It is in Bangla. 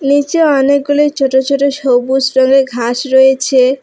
নীচে অনেকগুলি ছোট ছোট সবুজ রঙের ঘাস রয়েছে।